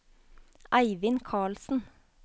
Eivind Carlsen